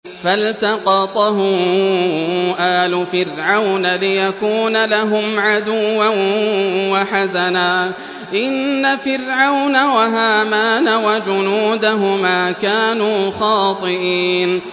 فَالْتَقَطَهُ آلُ فِرْعَوْنَ لِيَكُونَ لَهُمْ عَدُوًّا وَحَزَنًا ۗ إِنَّ فِرْعَوْنَ وَهَامَانَ وَجُنُودَهُمَا كَانُوا خَاطِئِينَ